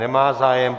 Nemá zájem.